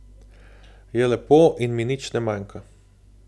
Je lepo in mi nič ne manjka.